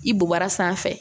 I bu bara sanfɛ